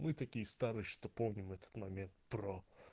мы такие старые что помним этот момент про